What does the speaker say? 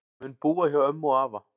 Mun búa hjá ömmu og afa